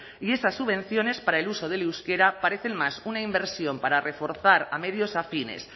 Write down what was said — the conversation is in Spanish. y esas subvenciones para el uso del euskera parecen más una inversión para reforzar a medios afines